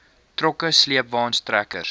trokke sleepwaens trekkers